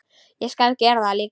Ég skal gera það líka.